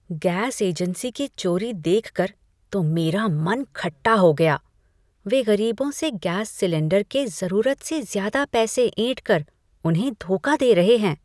Gas agency की चोरी देखकर तो मेरा मन खट्टा हो गया, वे गरीबों से गैस सिलेंडर के ज़रूरत से ज़्यादा पैसे ऐंठ कर उन्हें धोखा दे रहे थे।